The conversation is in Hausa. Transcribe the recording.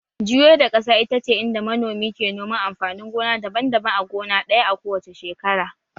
Juyar da ƙasa ita ce inda manomi ke noman amfanin gona daban-daban a gona ɗaya a kowace shekara